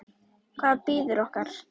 Hvað bíður okkar?